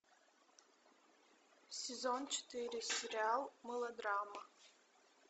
сезон четыре сериал мелодрама